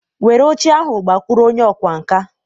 Were oche ahụ gakwuru onye ọkwá nkà.